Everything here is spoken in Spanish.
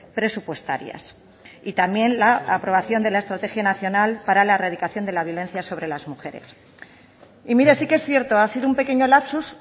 presupuestarias y también la aprobación de la estrategia nacional para la erradicación de la violencia sobre las mujeres y mire sí que es cierto ha sido un pequeño lapsus